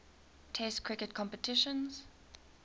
test cricket competitions